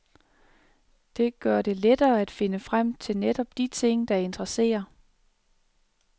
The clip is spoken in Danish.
Det gør det lettere at finde frem til netop de ting, der interesserer.